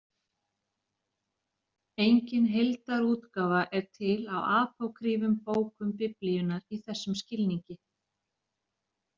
Engin heildarútgáfa er til á apókrýfum bókum Biblíunnar í þessum skilningi.